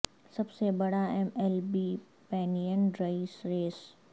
سب سے بڑا M L B pennant race race